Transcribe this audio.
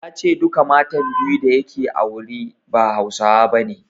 Ya ce duka matan biyu da yake aure ba Hausawa bane.